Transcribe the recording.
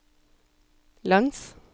langs